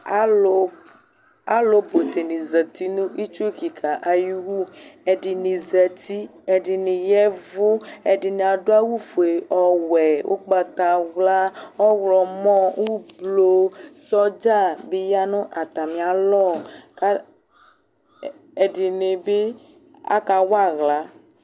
Alʋ, alʋbʋ dɩnɩ zati nʋ itsu kɩka ayʋ iwu Ɛdɩnɩ zati, ɛdɩnɩ ya ɛvʋ kʋ ɛdɩnɩ adʋ awʋfue, ɔwɛ, ʋgbatawla, ɔɣlɔmɔ, oblo Sɔdza bɩ ya nʋ atamɩalɔ ka ɛdɩnɩ bɩ akawa aɣla